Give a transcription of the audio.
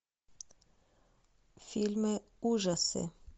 фильмы ужасы